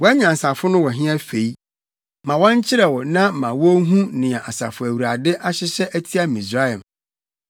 Wʼanyansafo no wɔ he afei? Ma wɔnkyerɛ wo na ma wonhu nea Asafo Awurade ahyehyɛ atia Misraim.